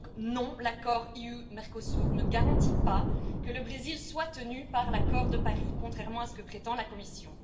Et donc, non, l'accord UE Mercosur ne garantit pas que le Brésil soit tenu par l'accord de Paris, contrairement à ce que prétend la Commission.